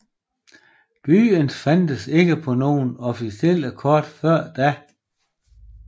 Byen fandtes ikke på nogen officielle kort før da